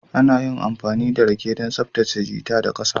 Ana iya amfani da rake don tsaftace gutter da ƙasa